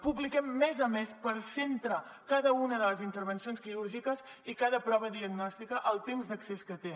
publiquem mes a mes per centre cada una de les intervencions quirúrgiques i cada prova diagnòstica el temps d’accés que té